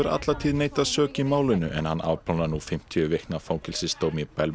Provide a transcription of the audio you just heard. alla tíð neitað sök í málinu en hann afplánar nú fimmtíu vikna fangelsisdóm í